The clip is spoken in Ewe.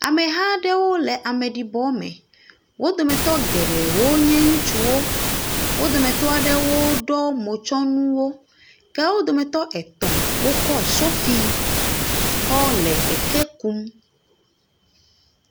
Ameha aɖewo le ameɖibɔ me. Wo dometɔ geɖe wo nye ŋutsuwo. Wo dometɔ ɖewo ɖɔ motsɔnuwo. Ke wo dometɔ etɔ̃ wokɔ sofi kɔ le eke kum.